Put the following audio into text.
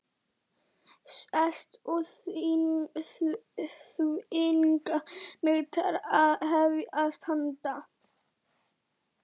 Sest og þvinga mig til að hefjast handa.